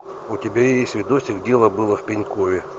у тебя есть видосик дело было в пенькове